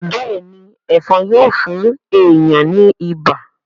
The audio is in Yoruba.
béèni Ẹ̀fọ̀n Yíò fún èyán ní ibà.